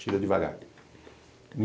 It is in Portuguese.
Tira devagar.